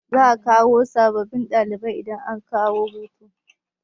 Za'a kawo sabbin dalibai idan aka dawo hutu.